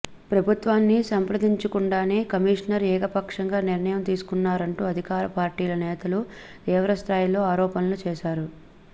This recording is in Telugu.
ప్రభుత్వాన్ని సంప్రదించకుండానే కమిషనర్ ఏకపక్షంగా నిర్ణయం తీసుకున్నారంటూ అధికార పార్టీ నేతలు తీవ్ర స్థాయిలో ఆరోపణలు చేశారు